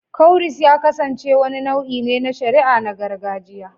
Cowries ya kasance wani nau'i na shari'a na gargajiya